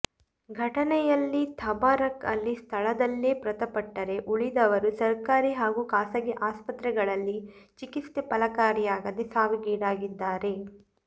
ಘಟನೆಯಲ್ಲಿ ತಬಾರಕ್ ಅಲಿ ಸ್ಥಳದಲ್ಲೇ ಮೃತಪಟ್ಟರೆ ಉಳಿದವರು ಸರ್ಕಾರಿ ಹಾಗೂ ಖಾಸಗಿ ಆಸ್ಪತ್ರೆಗಳಲ್ಲಿ ಚಿಕಿತ್ಸೆ ಫಲಕಾರಿಯಾಗದೆ ಸಾವಿಗೀಡಾಗಿದ್ದಾರೆ